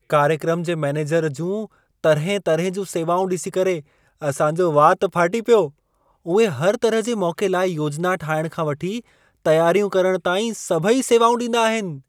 कार्यक्रम जे मैनेजर जूं तरहें तरहें जूं सेवाउं ॾिसी करे असां जो वात फाटी पियो। उहे हर तरह जे मौक़े लाइ योजना ठाहिणु खां वठी तयारियूं करण ताईं सभई सेवाऊं ॾींदा आहिनि।